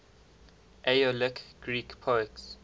aeolic greek poets